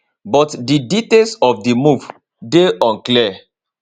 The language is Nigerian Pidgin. but di details of di move dey unclear